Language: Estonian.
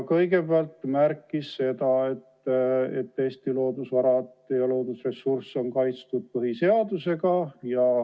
Kõigepealt ta märkis seda, et Eesti loodusvarad ja loodusressursid on kaitstud põhiseadusega.